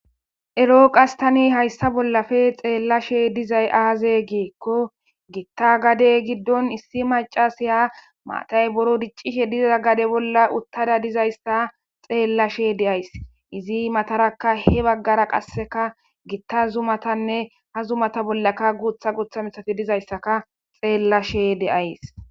Eroo qastani hayssa bollafe xeellashe dizay aaze geekko gitta gade giddon issi macasiya maatay boro diccishe diza gade bolla uttada dizayssa xeellashe deays izi mataraka he baggara qasseka gitta zumatanne ha zumata bollaka guutha guutha misafi dizayssaka xeellashe deays.